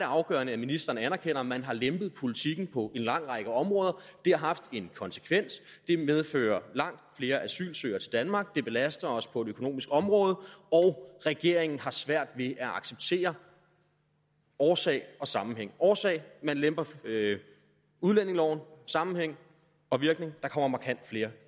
afgørende at ministeren anerkender at man har lempet politikken på en lang række områder det har haft en konsekvens det medfører langt flere asylsøgere til danmark det belaster os på det økonomiske område og regeringen har svært ved at acceptere årsag og sammenhæng årsag man lemper udlændingeloven sammenhæng og virkning der kommer markant flere